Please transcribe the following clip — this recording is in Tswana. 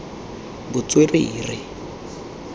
botswerere